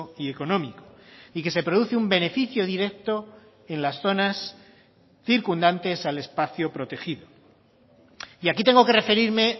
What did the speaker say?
y económico y que se produce un beneficio directo en las zonas circundantes al espacio protegido y aquí tengo que referirme